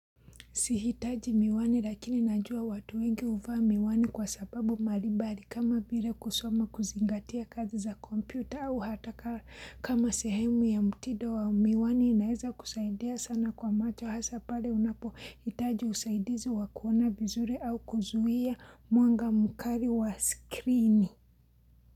Sihitaji miwani lakini najua watu wengi uvaa miwani kwa sababu marimbari kama vile kusoma kuzingatia kazi za kompyuta au hata ka kama sehemu ya mtido wa miwani inaeza kusaidia sana kwa macho hasa pale unapohitaji usaidizi wa kuona vizuri au kuzuhia mwanga mukari wa skrini.